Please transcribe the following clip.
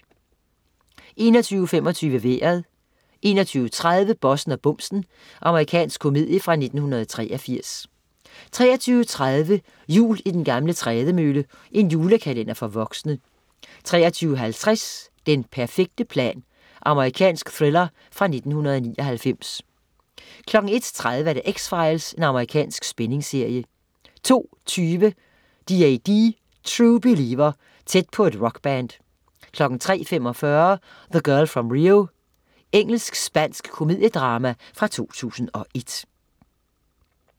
21.25 Vejret 21.30 Bossen og bumsen. Amerikansk komedie fra 1983 23.30 Jul i den gamle trædemølle. julekalender for voksne 23.50 Den perfekte plan. Amerikansk thriller fra 1999 01.30 X-Files. Amerikansk spændingsserie 02.20 DAD. True Believer. Tæt på et rockband 03.45 The Girl From Rio. Engelsk-spansk komediedrama fra 2001